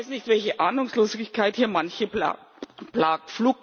Ich weiß nicht, welche Ahnungslosigkeit hier manche plagt.